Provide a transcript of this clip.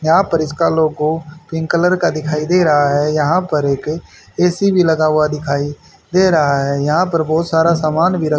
यहां पर इसका लोगो पिंक कलर का दिखाई दे रहा है यहां पर एक ए_सी भी लगा हुआ दिखाई दे रहा है यहां पर बहोत सारा समान भी र--